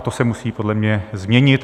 A to se musí podle mě změnit.